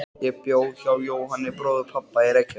Ég bjó hjá Jóhanni bróður pabba í Reykjavík.